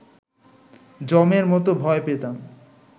যমের মতো ভয় পেতাম